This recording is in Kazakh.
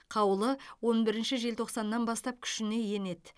қаулы он бірінші желтоқсаннан бастап күшіне енеді